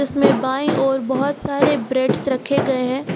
इसमें बाईं ओर बहुत सारे ब्रेडस रखे गए हैं।